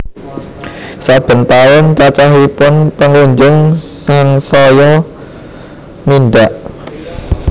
Saben taun cacahipun pengunjung sangsaya mindhak